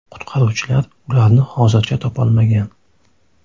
Qutqaruvchilar ularni hozircha topolmagan.